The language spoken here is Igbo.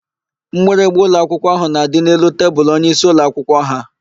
Mgbịrịgba ụlọakwụkwọ ahụ na-adị n'elu tebulu onyeisi ụlọakwụkwọ ha.